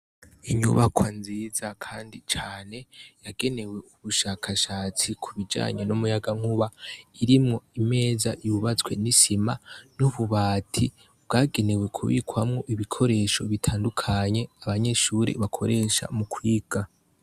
Inyubako nziza, kandi cane yagenewe ubushakashatsi ku bijanyo n'umuyaga nkuba irimwo imeza yubazwe n'isima n'ububati bwagenewe kubikwamwo ibikoresho bitandukanye abanyeshure bakoresha mu kwiga.